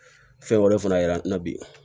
Fɛn wɛrɛ de fana yira an na bi